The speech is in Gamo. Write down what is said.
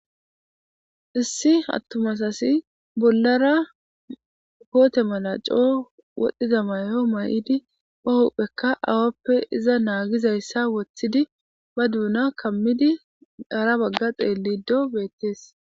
issi hattumas asi bollara poote mala coo wodhdhiza may7o may7idi pahopphekka awappe iza naagizayssa woththidi ba duuna kammidi ara bagga xeelido beettees